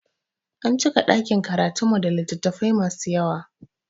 An cika ɗakin karatun mu da littafai masu yawa